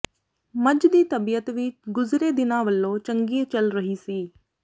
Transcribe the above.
ਮੱਝ ਦੀ ਤਬੀਅਤ ਵੀ ਗੁਜ਼ਰੇ ਦਿਨਾਂ ਵਲੋਂ ਚੰਗੀ ਚੱਲ ਰਹੀ ਸੀ